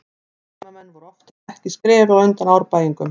Heimamenn voru oftar en ekki skrefi á undan Árbæingum.